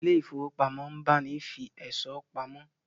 Ilé ifówópamọ́ ń báni fi ẹ̀ṣọ́ pamọ́